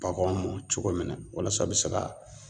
Baganw mɔ cogo min na walasa u bɛ se ka